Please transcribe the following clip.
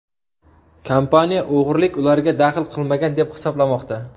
Kompaniya o‘g‘rilik ularga daxl qilmagan deb hisoblamoqda.